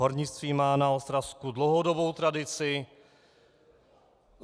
Hornictví má na Ostravsku dlouhodobou tradici.